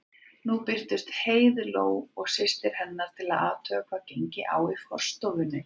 Nú birtust Heiðló og systir hennar til að athuga hvað gengi á í forstofunni.